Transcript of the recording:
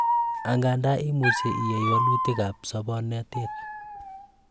angandan imuchei iyai walutik ab sobonotet